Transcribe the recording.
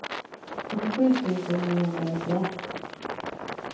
åttiosju tusen niohundranittioett